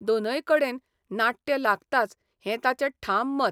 दोनय कडेन नाट्य लागताच हें ताचें ठाम मत..